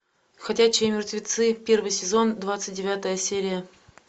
ходячие мертвецы первый сезон двадцать девятая серия